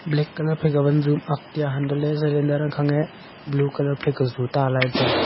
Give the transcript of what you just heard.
black colour phaika wan ju am ak tiya hanto le velender ang khang e blue colour phai ka zu ta lailey tailey.